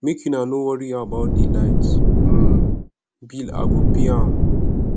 make una no worry about the light um bill i go pay am